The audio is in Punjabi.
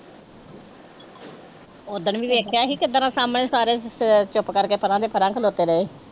ਓਦਣ ਵੀ ਵੇਖਿਆ ਸੀ ਕਿੱਦਾਂ ਸਾਹਮਣੇ ਸਾਰਿਆਂ ਦੇ ਅਹ ਚੁੱਪ ਕਰਕੇ ਪਰਾਂ ਦੇ ਪਰਾਂ ਖਲੋਤੇ ਰਹੇ।